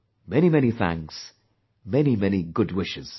Many many thanks, many many good wishes